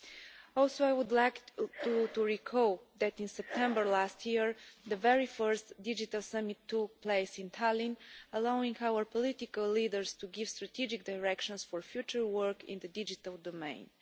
I would also like to recall that in September last year, the very first Digital Summit took place in Tallinn, allowing our political leaders to give strategic directions for future work in the digital domain.